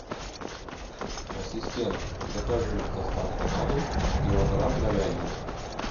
ассистент закажи с доставкой на дом килограмм говядины